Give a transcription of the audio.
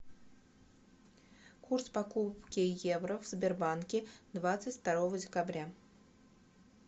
курс покупки евро в сбербанке двадцать второго декабря